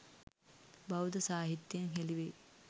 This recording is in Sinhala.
බෞද්ධ සාහිත්‍යයෙන් හෙළි වෙයි